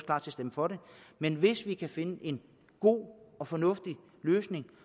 stemme for det men hvis vi kan finde en god og fornuftig løsning